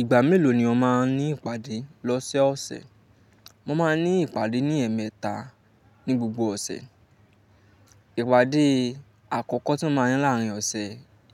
Ìgbà mélòó ni o máa ní ìpàdé lọ́sẹ̀ ọ̀sẹ̀? Mo máa ní ìpàdé ní ẹ̀ẹ̀mẹta ní gbogbo ọ̀sẹ̀. Ìpàdé àkọ́kọ́ tí mo máa ní láàárín ọ̀sẹ̀,